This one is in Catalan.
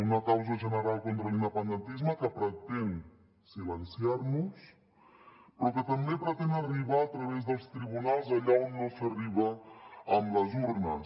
una causa general contra l’independentisme que pretén silenciar nos però que també pretén arribar a través dels tribunals allà on no s’arriba amb les urnes